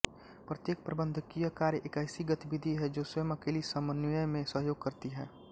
प्रत्येक प्रबंधकीय कार्य एक ऐसी गतिविधि है जो स्वयं अकेली समन्वय में सहयोग करती है